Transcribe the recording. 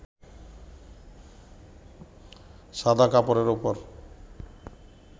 সাদা কাপড়ের ওপর